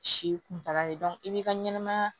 Si kuntaala de i b'i ka ɲɛnɛmaya